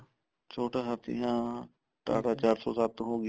ਛੋਟਾ ਹਾਥੀ ਹਾਂ TATA ਚਾਰ ਸੋ ਸੱਤ ਹੋਗੀ